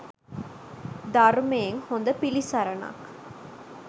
ධර්මයෙන් හොඳ පිළිසරණක්